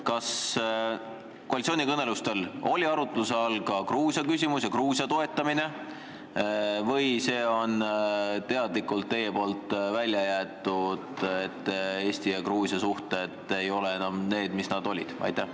Kas koalitsioonikõnelustel oli arutluse all ka Gruusia küsimus ja Gruusia toetamine või see on teadlikult välja jäetud ning Eesti ja Gruusia suhted ei ole enam need, mis nad olid?